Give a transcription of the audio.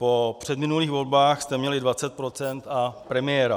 Po předminulých volbách jste měli 20 % a premiéra.